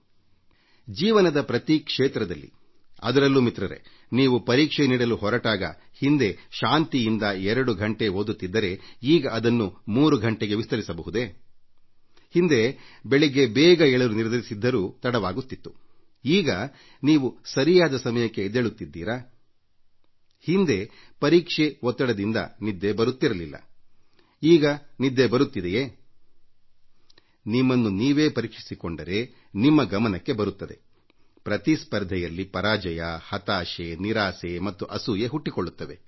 ಸ್ನೇಹಿತರೆ ಜೀವನದ ಪ್ರತಿ ಕ್ಷೇತ್ರದಲ್ಲಿಯೂ ಅದರಲ್ಲೂ ನೀವು ಪರೀಕ್ಷೆ ಎದುರಿಸುವಾಗ ನೀವು ಹಿಂದೆ ಶಾಂತಿಯಿಂದ 2 ಗಂಟೆ ಓದುತ್ತಿದ್ದರೆ ಈಗ ಅದನ್ನು 3 ಗಂಟೆಗೆ ವಿಸ್ತರಿಸಬಹುದೇ ಹಿಂದೆ ಬೆಳಗ್ಗೆ ಬೇಗ ಏಳಲು ನಿರ್ಧರಿಸಿದ್ದರೂ ತಡವಾಗುತ್ತಿತ್ತು ಈಗ ನೀವು ಸರಿಯಾದ ಸಮಯಕ್ಕೆ ಎದ್ದೇಳುತ್ತಿದ್ದೀರಾ ಹಿಂದೆ ಪರೀಕ್ಷೆ ಒತ್ತಡದಿಂದ ನಿದ್ದೆ ಬರುತ್ತಿರಲಿಲ್ಲ ಈಗ ನಿದ್ದೆ ಬರುತ್ತದೆಯೇ ನಿಮ್ಮನ್ನು ನೀವೇ ಪರೀಕ್ಷಿಸಿಕೊಂಡರೆ ನಿಮ್ಮ ಗಮನಕ್ಕೆ ಬರುತ್ತದೆ ಪ್ರತಿಸ್ಪರ್ಧೆಯಲ್ಲಿ ಪರಾಜಯ ಹತಾಶೆ ನಿರಾಸೆ ಮತ್ತು ಅಸೂಯೆ ಹುಟ್ಟಿಕೊಳ್ಳುತ್ತವೆ